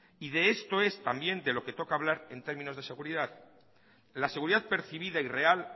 y de esto es también de lo que toca hablar en términos de seguridad la seguridad percibida y real